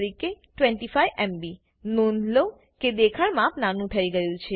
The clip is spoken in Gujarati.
25 એમબી નોંધ લો કે દેખાણ માપ નાનું થઇ ગયું છે